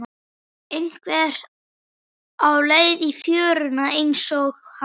Einhver á leið í fjöruna einsog hann.